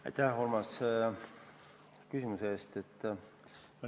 Aitäh, Urmas, küsimuse eest!